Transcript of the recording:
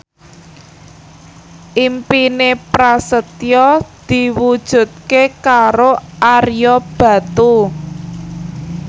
impine Prasetyo diwujudke karo Ario Batu